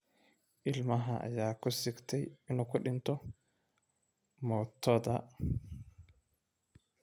Ilmaha ayaa ku sigtay inuu ku dhinto mootoda